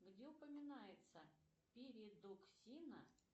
где упоминается передоксина